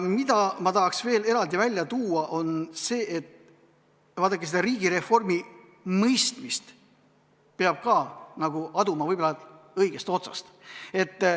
Ma tahaks veel eraldi välja tuua seda, et vaadake, riigireformi mõistet peab ka aduma võib-olla õigest otsast.